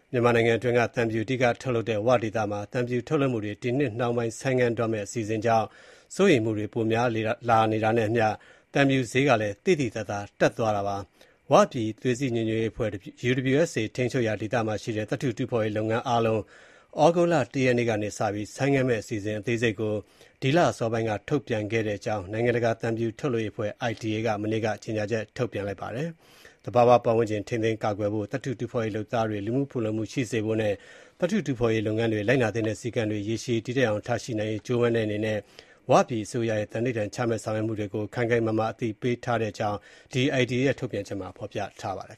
မြန်မာနိုင်ငံတွင်းက သံဖြူ အဓိက ထုတ်လုပ်တဲ့ ၀ ဒေသမှာ သံဖြူ ထုတ်လုပ်မှုတွေ ဒီနှစ် နှောင်းပိုင်း ဆိုင်းငံတော့မယ့် အစီအစဉ်ကြောင့် စိုးရိမ်မှုတွေ ပိုများလာနေတာနဲ့အမျှ သံဖြူဈေး သိသိသာသာ တက်သွားပါတယ်။ ၀ ပြည် သွေးစည်းညီညွတ်ရေးအဖွဲ့ UWSA ထိန်းချုပ်ရာ ဒေသမှာ ရှိတဲ့ သတ္ထု တူးဖော်ရေး လုပ်ငန်းအားလုံး သြဂုတ်လ ၁ ရက်နေ့ကစပြီး ဆိုင်းငံ့မယ် အစီအစဉ် အသေးစိတ်ကို ဒီလ အစောပိုင်းက ထုတ်ပြန်ခဲ့တဲ့အကြောင်း နိုင်ငံတကာ သံဖြူထုတ်လုပ်ရေးအဖွဲ့ ITA က မနေ့က ကြေညာချက် ထုတ်ပြန် ပြောဆိုလိုက်တာပါ။ သဘာဝပတ်ဝန်းကျင် ထိန်းသိမ်းကာကွယ်ဖို့၊ သတ္ထုတူးဖော်ရေး လုပ်သားတွေ လူမှုဖူလုံမှု ရှိစေဖို့နဲ့ သတ္ထုတူးဖော်ရေး လုပ်ငန်းတွေ လိုက်နာသင့်တဲ့ စည်းကမ်းတွေ ရေရှည်တည်တံ့အောင် ထားရှိနိုင်ရေး ကြိုးပမ်းနေတဲ့ ၀ ပြည်အစိုးရရဲ့ သန္နိဌာန်ချမှတ် ဆောင်ရွက်မှုတွေကို ခိုင်ခိင်မာမာ အသိပေးထားတဲ့ အကြောင်း ITA ရဲ့ ထုတ်ပြန်ချက်မှာ ဖော်ပြထားပါတယ်